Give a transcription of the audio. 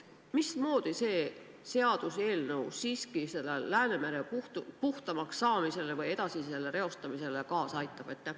Mismoodi see seadus siiski Läänemere puhtamaks saamisele või selle edasise reostamise vältimisele kaasa aitab?